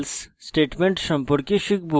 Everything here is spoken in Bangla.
if এবং